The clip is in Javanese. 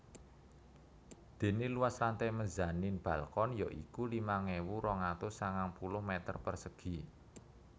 Dene luas lantai mezanin balkon ya iku limang ewu rong atus sangang puluh meter persegi